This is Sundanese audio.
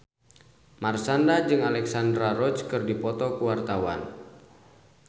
Marshanda jeung Alexandra Roach keur dipoto ku wartawan